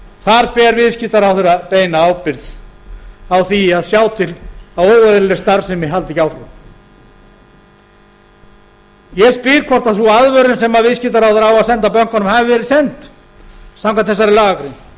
þar ber viðskiptaráðherra beina ábyrgð á því að sjá til að óeðlileg starfsemi haldi ekki áfram ég spyr hvort sú aðvörun sem viðskiptaráðherra á að senda bönkunum hafi verið send samkvæmt þessari lagagrein